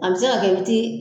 A bɛ se ka kɛ i b'i ti.